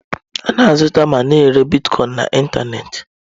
A na-azụta ma na-ere Bitkọin na ịntanetị.